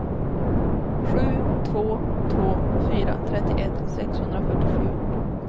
sju två två fyra trettioett sexhundrafyrtiosju